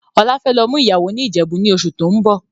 Ọlá fẹ́ lọ mú ìyàwó ni Ìjẹ̀bú ni oṣù tóun bọ̀.